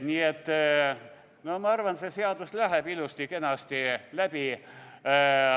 Nii et ma arvan, et see seadus läheb ilusti-kenasti läbi.